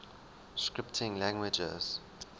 scripting languages